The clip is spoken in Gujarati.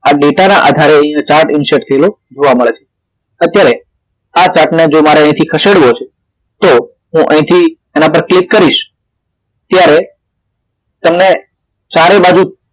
આ ડેટા ને આધારે આ chart insert કર્યો જોવા મળે છે અત્યારે આ chart ને મારે જો અહીથી ખસેડવો છે તો હું અહીથી એના પર ક્લિક કરીશ ત્યારે તેને ચારે બાજુ